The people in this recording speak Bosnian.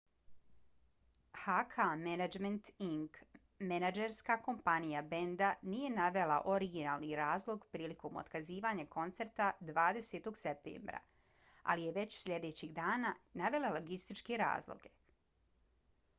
hk management inc. menadžerska kompanija benda nije navela originalni razlog prilikom otkazivanja koncerta 20. septembra ali je već sljedećeg dana navela logističke razloge